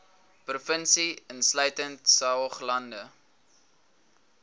provinsie insluitende saoglande